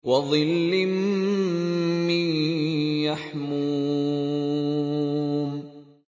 وَظِلٍّ مِّن يَحْمُومٍ